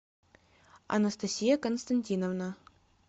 анастасия константиновна